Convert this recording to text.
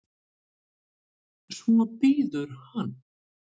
Svo bíður hann.